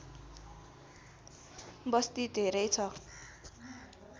बस्ती धेरै छ